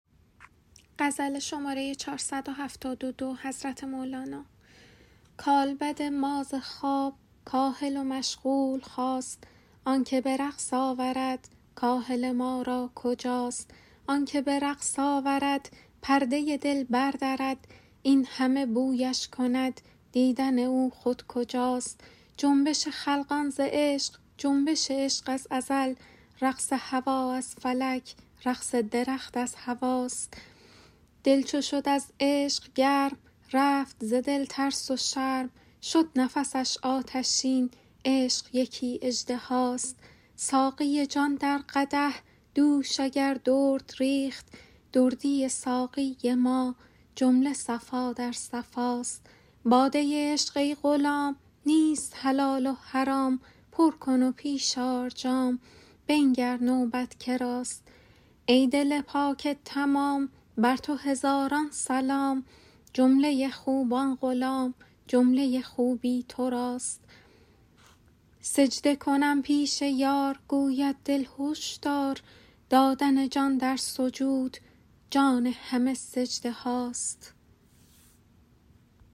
کالبد ما ز خواب کاهل و مشغول خاست آنک به رقص آورد کاهل ما را کجاست آنک به رقص آورد پرده دل بردرد این همه بویش کند دیدن او خود جداست جنبش خلقان ز عشق جنبش عشق از ازل رقص هوا از فلک رقص درخت از هواست دل چو شد از عشق گرم رفت ز دل ترس و شرم شد نفسش آتشین عشق یکی اژدهاست ساقی جان در قدح دوش اگر درد ریخت دردی ساقی ما جمله صفا در صفاست باده عشق ای غلام نیست حلال و حرام پر کن و پیش آر جام بنگر نوبت که راست ای دل پاک تمام بر تو هزاران سلام جمله خوبان غلام جمله خوبی تو راست سجده کنم پیش یار گوید دل هوش دار دادن جان در سجود جان همه سجده هاست